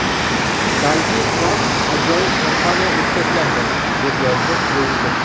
Balki, Tramp ajoyib kampaniya o‘tkazgandir”, deb yozdi prezident.